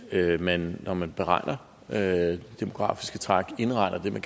at man når man beregner det demografiske træk indregner det der